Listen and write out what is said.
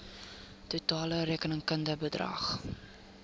totale rekenkundige bedrag